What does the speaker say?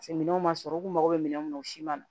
Paseke minɛnw ma sɔrɔ u kun mago bɛ minɛnw o si ma